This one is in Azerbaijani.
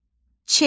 Ç.